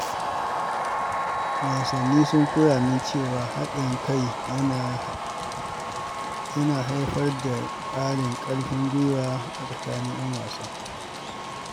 Wasanni sun koya min cewa haɗin kai yana haifar da ƙarin ƙarfin gwiwa a tsakanin 'yan wasa.